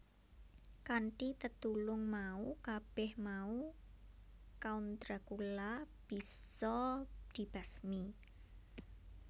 Kanthi tetulung mau kabeh mau Count Dracula bisa dibasmi